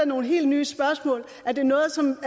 nogle helt nye spørgsmål er det noget som